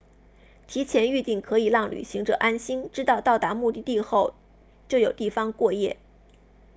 提前预订可以让旅行者安心知道到达目的地后就有地方过夜